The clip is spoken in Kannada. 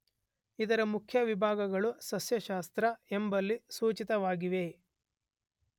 ಇದರ ಮುಖ್ಯ ವಿಭಾಗಗಳು ಸಸ್ಯಶಾಸ್ರ್ತ ಎಂಬಲ್ಲಿ ಸೂಚಿತವಾಗಿವೆ.